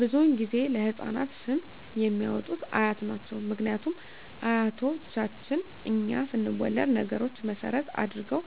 ብዙዉን ጊዜ ለህፃናት ስም የሚያወጡት አያት ናቸዉ ምክንያቱም አያቶቻችን እኛ ስንወለድ ነገሮች መሰረት አድርገዉ